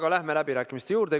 Aga läheme läbirääkimiste juurde.